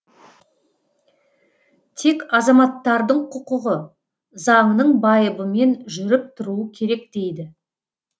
тек азаматтардың құқығы заңның байыбымен жүріп тұруы керек дейді